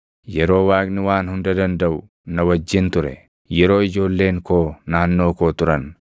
yeroo Waaqni Waan Hunda Dandaʼu na wajjin ture, yeroo ijoolleen koo naannoo koo turan,